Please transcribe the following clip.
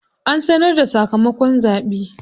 An sanar da sakamakon zaɓe.